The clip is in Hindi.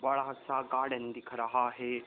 बड़ा सा गार्डन दिख रहा है।